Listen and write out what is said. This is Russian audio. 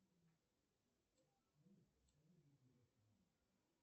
салют какую валюту брать с собой в зимбабве